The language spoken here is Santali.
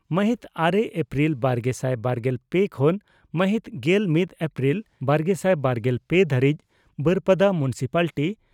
ᱢᱟᱦᱤᱛ ᱟᱨᱮ ᱮᱯᱨᱤᱞ ᱵᱟᱨᱜᱮᱥᱟᱭ ᱵᱟᱨᱜᱮᱞ ᱯᱮ ᱠᱷᱚᱱ ᱢᱟᱦᱤᱛ ᱜᱮᱞ ᱢᱤᱛ ᱮᱯᱨᱤᱞ ᱵᱟᱨᱜᱮᱥᱟᱭ ᱵᱟᱨᱜᱮᱞ ᱯᱮ ᱫᱷᱟᱹᱨᱤᱡ ᱵᱟᱹᱨᱯᱟᱫᱟ ᱢᱩᱱᱥᱤᱯᱟᱞᱴᱤ